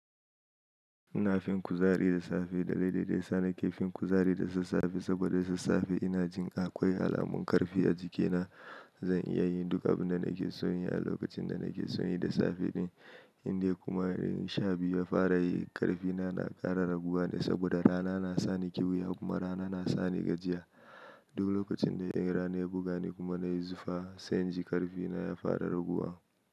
Ina fin kuzari da safe dalilin da ya sa nake fin kuzari da sassafe saboda sassafe ina jin akwai alamun ƙarfi a jikina. Zan iya yin duka abin da nake son yi a lokacin da nake son yi da safe din. Indai kuma in sha biyu ya fara yi ƙarfina na ƙara raguwa ne saboda rana na sa ni ƙiwiya kuma rana na sa ni gajiya. Duk lokacin da rana ya buga ni kuma na yi zufa sai in ji ƙarfina ya fara raguwa.